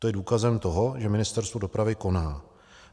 To je důkazem toho, že Ministerstvo dopravy koná.